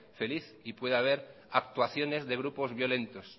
feliz y puede haber actuaciones de grupos violentos